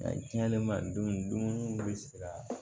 A diyan dumuni dumuni bɛ siran